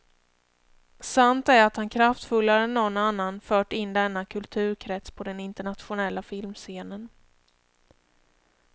Sant är att han kraftfullare än någon annan fört in denna kulturkrets på den internationella filmscenen.